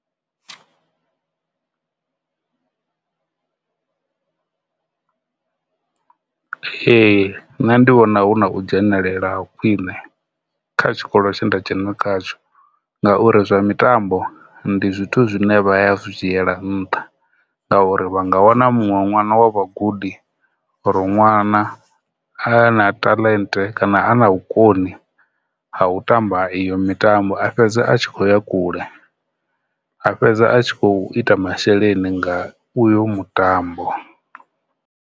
Ee, nṋe ndi vhona hu na u dzhenelela khwine kha tshikolo tshe nda dzhena khazwo ngauri zwa mitambo ndi zwithu zwine vha zwi dzhiela nṱha ngauri vha nga wana muṅwe ṅwana wa vha gudi or ṅwana a na talent kana a na vhukoni ha u tamba iyo mitambo a fhedza a tshi khoya kule, a fhedza a tshi kho ita masheleni nga uyo mutambo.